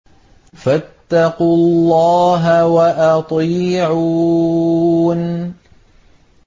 فَاتَّقُوا اللَّهَ وَأَطِيعُونِ